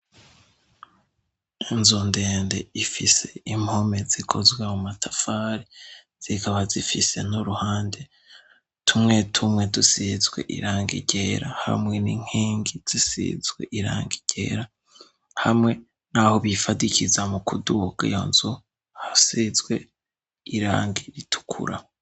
Inzu ndende ifise impome zikozwe mu matafari, zikaba zifise n'uruhande tumwe tumwe dusizwe irangi ryera hamwe n'inkingi zisizwe irangi ryera hamwe n'aho bifadikiza mu kuduga iyo nzu, hasizwe irangi ritukura.